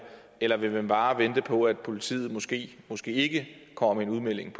eller vil man bare vente på at politiet måske måske ikke kommer med en udmelding